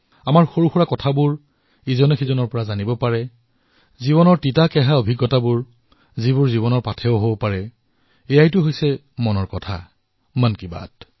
আমাৰ সৰু সৰু কথা যি এজনে আনজনক শিকায় জীৱনৰ তিতাকেঁহা অনুভৱ যি জীৱনৰ প্ৰেৰণা হৈ পৰে এয়াইতো হল মন কী বাত